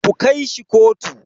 Ku kai shi kotu.